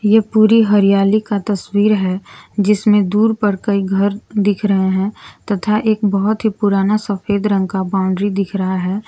ये पूरी हरियाली का तस्वीर है जिसमें दूर पर कई घर दिख रहे हैं तथा एक बहुत ही पुराना सफेद रंग का बाउंड्री दिख रहा है।